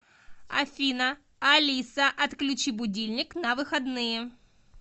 афина алиса отключи будильник на выходные